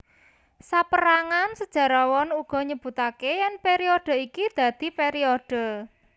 Saperangan sejarawan uga nyebutake yen periode iki dadi periode